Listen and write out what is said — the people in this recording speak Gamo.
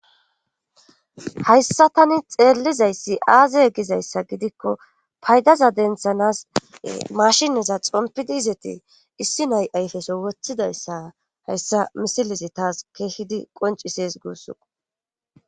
hayssa tani xeellizayssi aaze gizayssa gidikko paydaza denthanas mashineza xompidi izeti issi nay7ayfeso woththidayssa hayssa misilizi taas keehidi qoncises guussu